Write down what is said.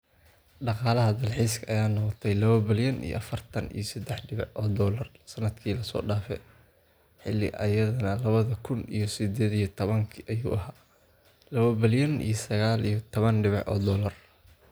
Dagalaxa dalkxiska aya noqtey lawa balyan iyo afartaan iyo sadex dibac oo dollar sanadkii lasoo dafe xili aya lawada kun iyo sadayotawanka ayu ahy lawa balyan iyo saqal iyo tawan dibac oo dollar.